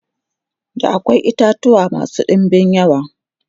da akwai itatuwa masu ɗinbin yawa